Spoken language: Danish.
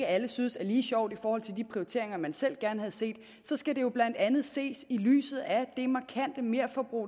alle synes er lige sjov i forhold til de prioriteringer man selv gerne havde set så skal det jo blandt andet ses i lyset af det markante merforbrug